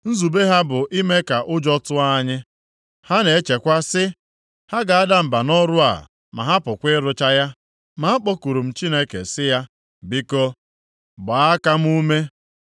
Nzube ha bụ ime ka ụjọ tụọ anyị. Ha na-echekwa sị, “Ha ga-ada mba nʼọrụ a ma hapụkwa ịrụcha ya.” Ma akpọkuru m Chineke sị ya, “Biko gbaa aka m ume.”